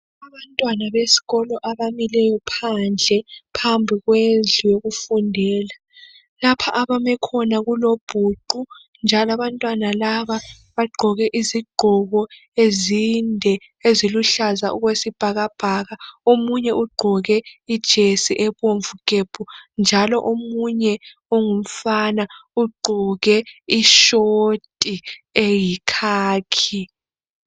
Abantwana besikolo abamileyo phandle phambili kwendlu yokufundela. Lapha abame khona kulobhuqu njalo abantwana laba bagqoke izigqoko ezinde eziluhlaza okwesibhakabhaka. Omunye ugqoke ijesi ebomvu gebhu njalo omunye ongumfana ugqoke ishoti eyikhakhi.